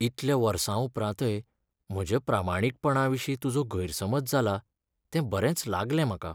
इतल्या वर्सां उपरांतय म्हज्या प्रामाणीकपणाविशीं तुजो गैरसमज जाला, तें बरेंच लागलें म्हाका.